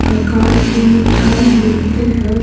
प्रकार की मिठाई मिलते हैं।